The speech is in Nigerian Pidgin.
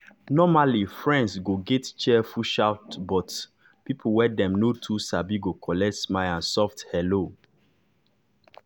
normally friends go get cheerful shout but people wey dem no too sabi go collect smile and soft hello.